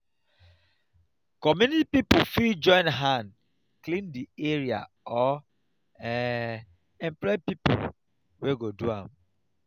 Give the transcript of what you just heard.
community pipo fit join hand clean di area or um employ pipo wey go do am